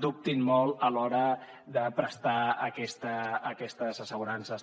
dubtin molt a l’hora de prestar aquestes assegurances